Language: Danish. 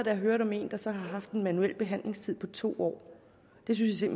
jeg hørte om en der så har haft en manuel behandlingstid på to år det synes jeg